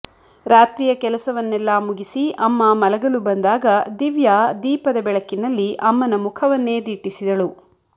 ರಾತ್ರಿಯ ಕೆಲಸವನ್ನೆಲ್ಲ ಮುಗಿಸಿ ಅಮ್ಮ ಮಲಗಲು ಬಂದಾಗ ದಿವ್ಯಾ ದೀಪದ ಬೆಳಕಿನಲ್ಲಿ ಅಮ್ಮನ ಮುಖವನ್ನೇ ದಿಟ್ಟಿಸಿದಳು